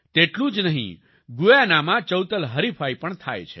તેટલું જ નહીં Guyanaમાં ચૌતલ હરિફાઈ પણ થાય છે